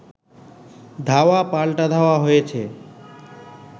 ধাওয়া পাল্টা ধাওয়া হয়েছে